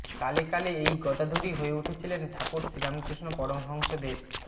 কালে কালে এই গদাধরই হয়ে উঠেছিলেন ঠাকুর শ্রীরামকৃষ্ণ পরমহংস দেব